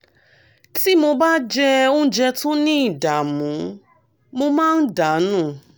tí mo bá jẹ oúnjẹ tó ní ìdààmú mo máa ń dà nù